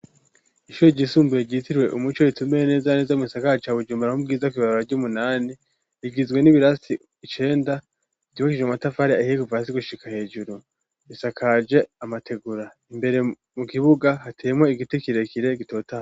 Ishure ry'isumbuye ryitiriwe umuco ritumbereye neza na neza mu gisagara ca bujumbura mu bwiza kw'ibarabara ry'umunani rigizwe n'ibirasi icenda vyubakishijwe matafari ahiye kuva hasi gushika hejuru isakaje amatigura imbere mu kibuga hateyemwo igiti kirekire gitotahaye.